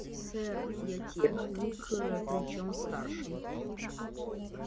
сэр я техник э причём старший